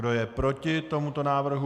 Kdo je proti tomuto návrhu?